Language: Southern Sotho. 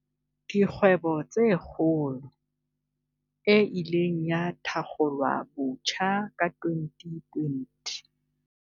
Dikgwebo tse Kgolo, e ileng ya thakgolwabotjha ka 2020.